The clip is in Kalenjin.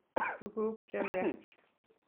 Tuguk chemiach